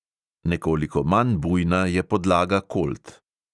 Nekoliko manj bujna je podlaga kolt.